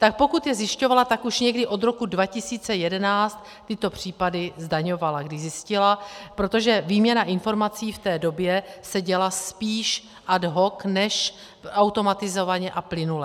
Tak pokud je zjišťovala, tak už někdy od roku 2011 tyto případy zdaňovala, když zjistila, protože výměna informací v té době se děla spíš ad hoc než automatizovaně a plynule.